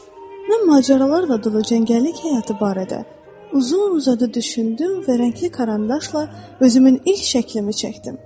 Mən macəralarla dolu cəngəllik həyatı barədə uzun-uzadı düşündüm və rəngli karandaşla özümün ilk şəklimi çəkdim.